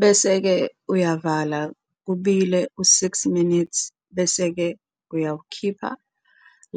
Bese ke uyavala kubile u 6 minutes bese ke uyawukhipha